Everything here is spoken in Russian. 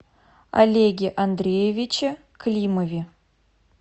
олеге андреевиче климове